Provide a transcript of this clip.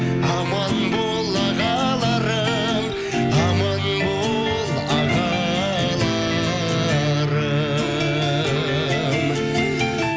аман бол ағаларым аман бол ағаларым